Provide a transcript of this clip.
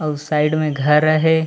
अऊ साइड में घर अ हे।